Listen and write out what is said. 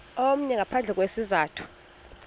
omnye ngaphandle kwesizathu